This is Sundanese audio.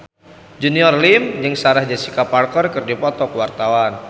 Junior Liem jeung Sarah Jessica Parker keur dipoto ku wartawan